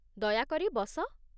ଦୟାକରି ବସ।